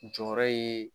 Jɔyɔrɔ ye